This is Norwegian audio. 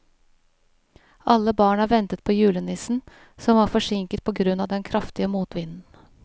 Alle barna ventet på julenissen, som var forsinket på grunn av den kraftige motvinden.